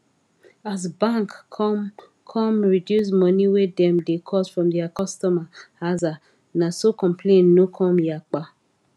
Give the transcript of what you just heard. as bank come come reduce money wey dem da cut from dia cutomer aza na so complain no come yapa